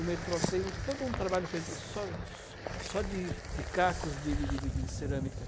O metrô tem todo um trabalho feito só só de de cacos de de de de cerâmica.